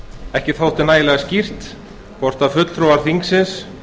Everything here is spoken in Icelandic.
ekki þótti nægilega skýrt hvort fulltrúar þingsins